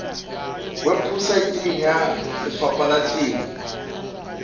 weposaeteng ya lefapha la temo